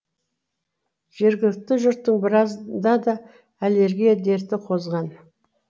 жергілікті жұрттың біразында аллергия дерті қозған